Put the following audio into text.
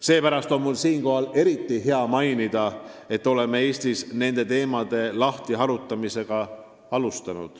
Seepärast on mul siinkohal eriti hea meel mainida, et oleme Eestis alustanud nende teemade lahtiharutamist.